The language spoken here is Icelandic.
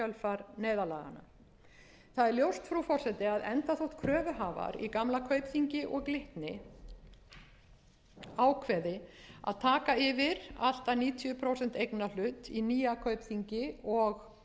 það er ljóst frú forseti að enda þótt kröfuhafar í gamla kaupþingi og glitni ákveði að taka yfir allt að níutíu prósent eignarhlut í nýja kaupþingi og